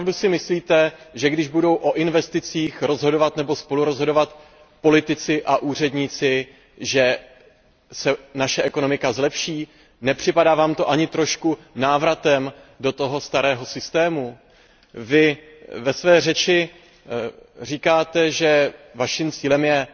Opravdu si myslíte, že když budou o investicích rozhodovat nebo spolurozhodovat politici a úředníci, se naše ekonomika zlepší? Nepřipadá Vám to ani trochu jako návrat do toho starého systému? Vy ve své řeči říkáte, že Vaším cílem je